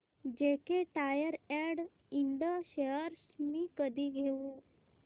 JK tyre and इंड shares मी कधी घेऊ